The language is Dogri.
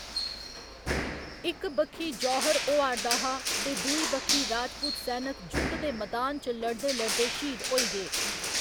इक बक्खी जौहर होआ'रदा हा ते दूई बक्खी राजपूत सैनक जुद्ध दे मैदान च लड़दे लड़दे श्हीद होई गे।